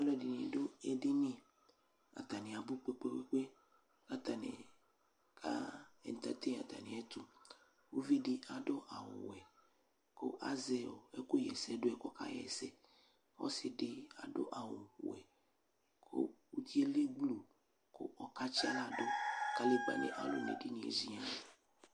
Alʋɛdini dʋ edini, atani abʋ kpekpekpe, atani ka entertain atamiɛtʋ Uvidi adʋ awʋ wɛ kʋ azɛ ɛkʋɣɛsɛdʋ yɛ k'ɔkaɣɛsɛ Ɔsidi adʋ awʋ wɛ kʋ uti yɛ lɛ gblu kʋ ɔkaysi aɣla dʋ, kadegbani alu n'edini yɛ ziian